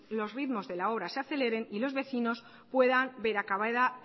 los ritmos de la obra se aceleren y los vecinos puedan ver acabada